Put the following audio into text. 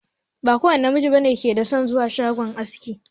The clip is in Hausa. Ba kowanne namiji bane yake son zuwa shagon aski.